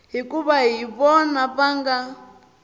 hikuva hi vona va nga